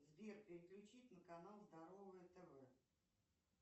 сбер переключить на канал здоровое тв